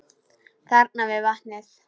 Þarna við vatnið.